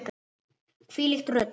Hvílíkt rugl.